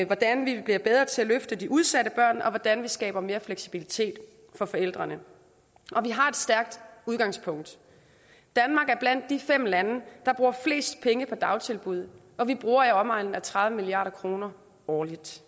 hvordan vi bliver bedre til at løfte de udsatte børn og hvordan vi skaber mere fleksibilitet for forældrene vi har et stærkt udgangspunkt danmark er blandt de fem lande der bruger flest penge på dagtilbud og vi bruger i omegnen af tredive milliard kroner årligt